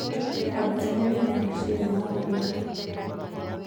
ambĩa gutherĩa na machĩnĩ ya gutherĩa